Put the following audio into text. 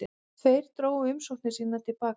Tveir drógu umsóknir sínar til baka